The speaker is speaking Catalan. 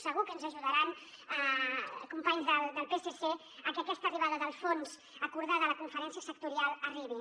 segur que ens ajudaran companys del psc a que aquesta arribada del fons acordada a la conferència sectorial arribi